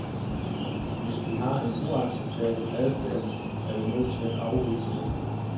Hvis de har en uacceptabel adfærd, er vi nødt til at afvise dem.